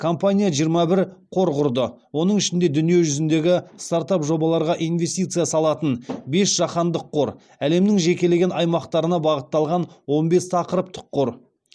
компания жиырма бір қор құрды оның ішінде дүниежүзіндегі стартап жобаларға инвестиция салатын бес жаһандық қор әлемнің жекелеген аймақтарына бағытталған он бес тақырыптық қор